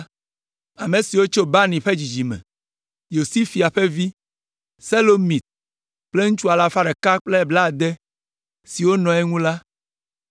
Ame siwo tso Bani ƒe dzidzime me: Yosifia ƒe vi, Selomit kple ŋutsu alafa ɖeka kple blaade (160) siwo nɔ eŋu la;